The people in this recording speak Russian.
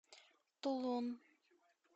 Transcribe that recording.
тулун